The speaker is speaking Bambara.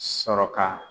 Sɔrɔ ka